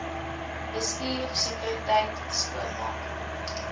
bestuur sekuriteit skoonmaak